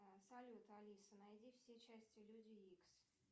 салют алиса найди все части люди икс